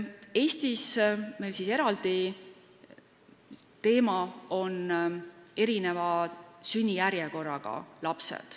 Eestis on eraldi teema erineva sünnijärjekorraga lapsed.